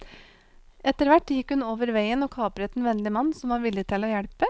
Etterhvert gikk hun over veien og kapret en vennlig mann som var villig til å hjelpe.